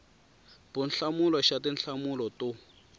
b hlamula xa tinhlamulo to